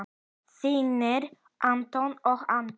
Þínir Anton og Andri.